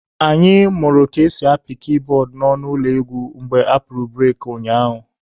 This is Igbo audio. Anyị mụrụ ka esi apị kiibọọdụ n'ọnụ ụlọ egwu mgbe apụrụ bureki ụnyaahụ